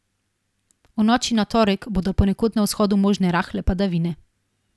V noči na torek bodo ponekod na vzhodu možne rahle padavine.